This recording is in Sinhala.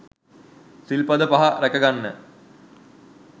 සිල් පද පහ රැකගන්න